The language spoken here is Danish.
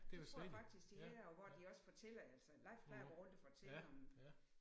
Det tror jeg faktisk de havde og hvor de også fortæller altså Leif plejer at gå rundt og fortælle om